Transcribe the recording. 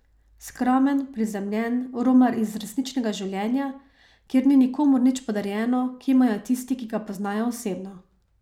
Skromen, prizemljen, romar iz resničnega življenja, kjer ni nikomur nič podarjeno, kimajo tisti, ki ga poznajo osebno.